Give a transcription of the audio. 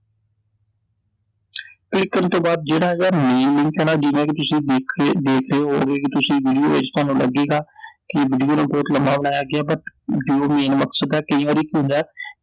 click ਕਰਨ ਤੋਂ ਬਾਅਦ ਜਿਹੜਾ ਇਹਦਾ main ਮੰਥਨ ਐ ਜਿਵੇਂ ਕਿ ਤੁਸੀਂ ਦੇਖ ਰਹੇ ਦੇਖ ਰਹੇ ਓ ਓਵੇਂ ਕਿ ਤੁਸੀਂ ਵੀਡੀਓ ਵਿਚ ਥੋਨੂੰ ਲਗੇਗਾ ਕਿ ਵੀਡੀਓ ਨੂੰ ਬਹੁਤ ਲੰਮਾ ਬਣਾਇਆ ਗਿਆ, but ਜੋ main ਮਕਸਦ ਐ ਕਈ ਵਾਰੀ ਕੀ ਹੁੰਦੈ